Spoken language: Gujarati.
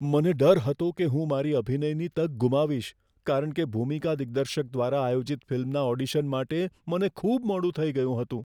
મને ડર હતો કે હું મારી અભિનયની તક ગુમાવીશ કારણ કે ભૂમિકા દિગ્દર્શક દ્વારા આયોજિત ફિલ્મના ઓડિશન માટે મને ખૂબ મોડું થઈ ગયું હતું.